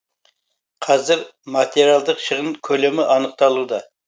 қазір материалдық шығын көлемі анықталуда